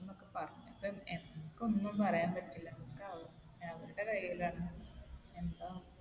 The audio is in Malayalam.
ചെയ്തുന്ന് ഒക്കെ പറഞ്ഞ്. അപ്പൊ നമുക്ക് ഒന്നും പറയാൻ പറ്റില്ല. ഒക്കെ അവരുടെ കയ്യിലാണ്.